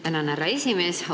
Tänan, härra esimees!